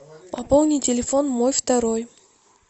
пополни телефон мой второй